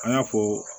An y'a fɔ